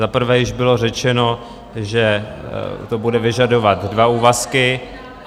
Za prvé již bylo řečeno, že to bude vyžadovat dva úvazky.